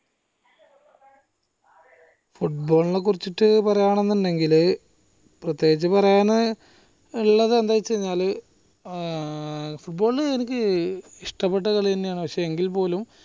football നെ കുറിച്ചിട്ട് പറയാണിന്നിണ്ടെങ്കില് പ്രേത്യേഗിച് പറയാന് ഇള്ളത് എന്താന്ന് വെച്ചാല് ഏർ football ഇഷ്ടപെട്ട കളിയെന്നെ ആണ് പക്ഷെ എങ്കിൽപ്പോലും